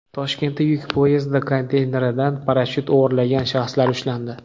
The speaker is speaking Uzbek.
Toshkentda yuk poyezdi konteyneridan parashyut o‘g‘irlagan shaxslar ushlandi.